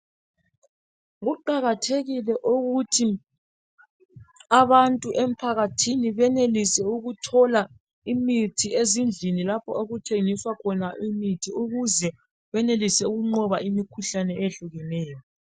Kuqakathekile ukuthi abantu emphakathini benelise ukuthola imithi ezindlini lapho okuthengiswa khona imithi ukuze benelise ukunqoba imikhuhlane eyehlukeneyo.